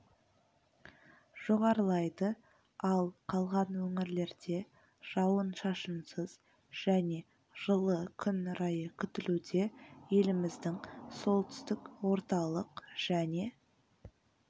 жоғарылайды ал қалған өңірлерде жауын-шышынсыз және жылы күн райы күтілуде еліміздің солтүстік орталық және